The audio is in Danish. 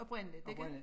Oprindeligt ikke